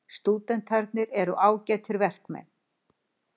Stúdentarnir eru ágætir verkmenn.